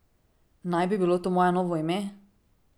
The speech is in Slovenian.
Naj bi bilo to moje novo ime?